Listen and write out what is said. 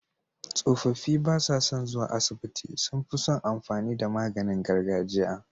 Tsofaffi basa son zuwa asibiti sunfison amfani da maganin gargajiya